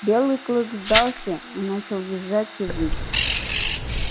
белый клык сдался и начал визжать и выть